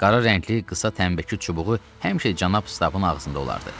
Qara rəngli qısa tənbəki çubuğu həmişə cənab stabın ağzında olardı.